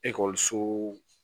Ekɔliso